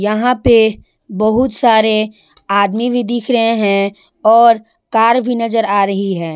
यहां पे बहुत सारे आदमी भी दिख रहे हैं और कार भी नजर आ रही है।